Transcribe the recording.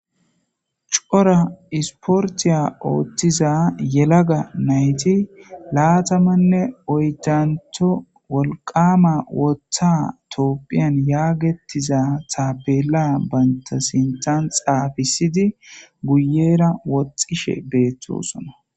Cora isportiya ooththiza yelaga nayti laatamanne oydanto wolqama woththa toopphiyan yaagettiza taabela baynta sinxan xaafisidi guyera woxxishe beettosona